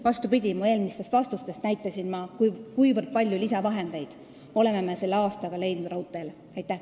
Vastupidi, oma eelmistes vastustes näitasin ma, kui palju lisavahendeid me oleme selle aastaga raudteele leidnud.